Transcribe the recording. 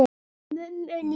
Mömmu líka?